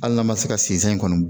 Hali n'a ma se ka sinsɛ kɔnɔ